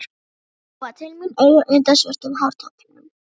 Mamma gjóaði til mín auga undan svörtum hártoppnum.